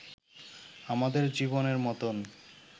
আমাদের জীবনের মতোন